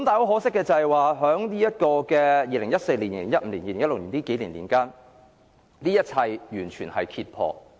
可惜的是，在2014年至2016年，這一切完全被揭破。